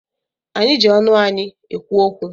Anyị ji ọnụ anyị ekwu okwu.